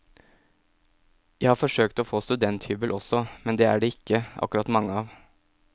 Jeg har forsøkt å få studenthybel også, men de er det ikke akkurat mange av.